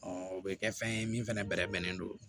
o bɛ kɛ fɛn ye min fana bɛrɛ bɛnnen don